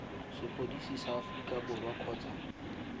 sepodisi sa aforika borwa kgotsa